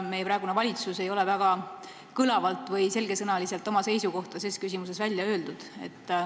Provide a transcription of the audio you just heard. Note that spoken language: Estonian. Meie praegune valitsus ei ole väga kõlavalt või selge sõnaga oma seisukohta ses küsimuses välja öelnud.